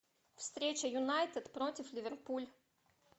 встреча юнайтед против ливерпуль